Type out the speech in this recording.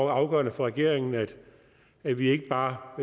afgørende for regeringen at vi ikke bare